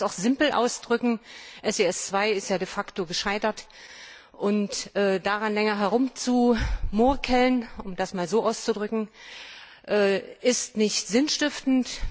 Ich könnte es auch simpel ausdrücken SIS II ist ja de facto gescheitert, und daran länger herumzumurksen um das mal so auszudrücken ist nicht sinnstiftend.